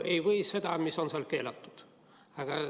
Ei või seda, mis on seal keelatud.